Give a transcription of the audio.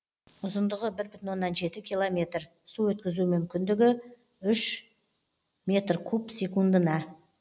ұзындығы бір бүтін оннан жеті километр су өткізу мүмкіндігі үш метр куб секундына